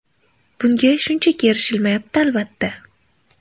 Bunga shunchaki erishilmayapti, albatta.